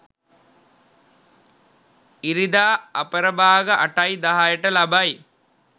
ඉරිදා අපරභාග 8.10 ට ලබයි.